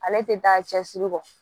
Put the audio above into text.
Ale tɛ taa cɛsiri kɔ